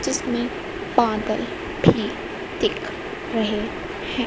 जिसमें बदल भी दिख रहे हैं।